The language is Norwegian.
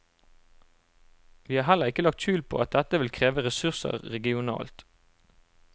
Vi har heller ikke lagt skjul på at dette vil kreve ressurser regionalt.